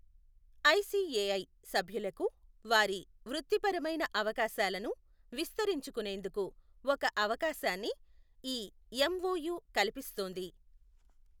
ICAI సభ్యులకు వారి వృత్తిపరమైన అవకాశాలను విస్తరించుకొనేందుకు ఒక అవకాశాన్ని ఈ ఎమ్ఒయు కల్పిస్తుంది.